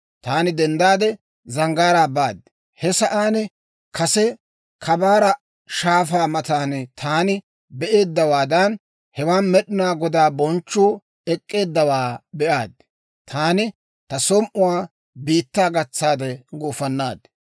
Taani denddaade, zanggaaraa baad. He sa'aan kase Kabaara Shaafaa matan taani be'eeddawaadan, hewan Med'inaa Godaa bonchchuu ek'k'eeddawaa be'aad; taani ta som"uwaa biittaa gatsaade gufannaad.